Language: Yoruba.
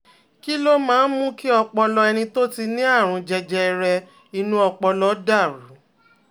Kí ló máa ń mú kí ọpọlọ ẹni tó ní àrùn jẹjẹrẹ inú ọpọlọ dà rú?